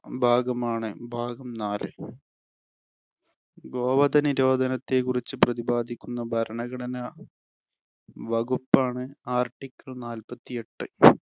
ഭാഗമാണ് ഭാഗം നാല്. ഗോവധനിരോധത്തെക്കുറിച്ചു പ്രതിപാദിക്കുന്ന ഭരണഘടന വകുപ്പാണ് article നാൽപ്പത്തിയെട്ട്.